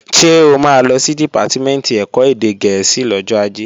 Ṣé o máa lọ sí Dìpátímẹ̀ntì ẹ̀kọ́ èdè gẹ̀ẹ́sì lọ́jọ́ Ajé?